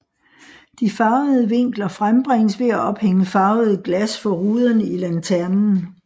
De farvede vinkler frembringes ved at ophænge farvede glas for ruderne i lanternen